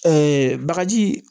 bagaji